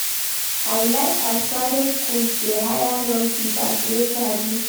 I like as private skools dey hire young teachers wey sabi